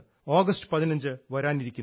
August 15 വരാനിരിക്കുന്നു